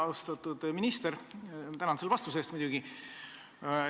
Austatud minister, tänan muidugi selle vastuse eest!